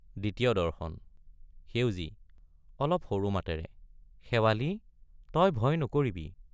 দ্বিতীয় দৰ্শন সেউজী— অলপ সৰু মাতেৰে শেৱালি তই ভয় নকৰিবি।